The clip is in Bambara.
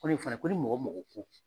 Koni fana ko mɔgɔ mɔgɔ ko